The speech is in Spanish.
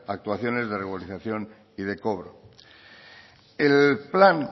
actuaciones de regularización y de cobro el plan